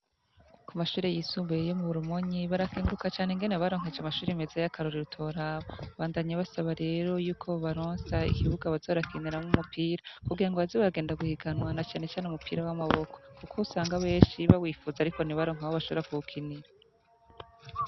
Ku mashuri yisumbuye iyo mu burumonyi barakenguruka cane ngene baronkeje amashuri meza y'akarori rutoraba bandanye basaba rero yuko baronsa ikibuga bazorakiniramwo umupira kugira ngo azi wagenda guhiganwana canecane umupira w'amaboko, kuko usanga benshi bawifuza, ariko ntibaronka aho bashora kuwukinira.